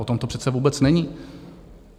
O tom to přece vůbec není.